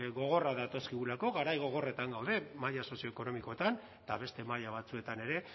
gogorrak datozkigulako garai gogorretan gaude maila sozioekonomikoetan eta beste maila batzuetan ere